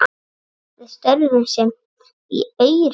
Við störfum saman í Aurum.